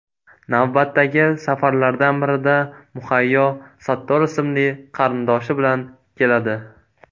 Navbatdagi safarlardan birida Muhayyo Sattor ismli qarindoshi bilan keladi.